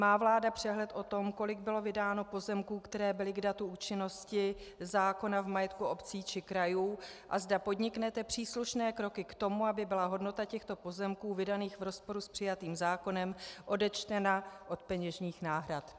Má vláda přehled o tom, kolik bylo vydáno pozemků, které byly k datu účinnosti zákona v majetku obcí či krajů, a zda podniknete příslušné kroky k tomu, aby byla hodnota těchto pozemků vydaných v rozporu s přijatým zákonem odečtena od peněžních náhrad?